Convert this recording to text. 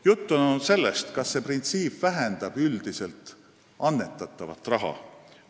Juttu on olnud sellestki, kas see printsiip vähendab üldiselt annetatava raha mahtu.